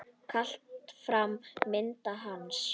Kalla fram mynd hans.